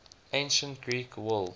ancient greek world